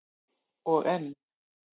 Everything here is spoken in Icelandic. Og enn